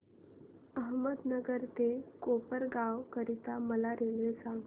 अहमदनगर ते कोपरगाव करीता मला रेल्वे सांगा